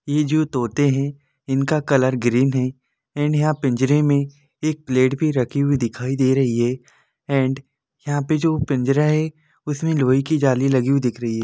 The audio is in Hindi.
ये जो तोते है इनका कलर ग्रीन है एंड यंहा पिंजरे में एक प्लेट भी रखी हुई दिखाई दे रही है एंड यहाँ पे जो पिंजरा है उसमे लोहे की जाली लगी हुई दिख रही है।